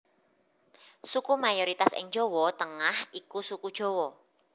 Suku mayoritas ing Jawa Tengah iku Suku Jawa